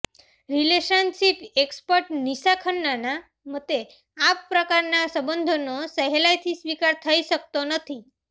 relationship expert Nisha ખન્નાના મતે આ પ્રકારના સંબંધોનો સહેલાઈથી સ્વીકાર થઈ શકતો નથી